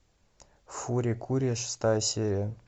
фури кури шестая серия